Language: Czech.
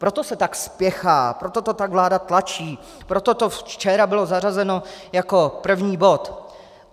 Proto se tak spěchá, proto to tak vláda tlačí, proto to včera bylo zařazeno jako první bod.